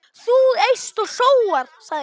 Þú eyst og sóar, sagði konan.